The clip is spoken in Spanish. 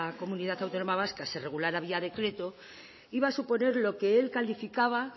comunidad autónoma vasca se regulara vía decreto iba a suponer lo que él calificaba